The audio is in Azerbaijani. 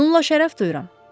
Bununla şərəf duyuram.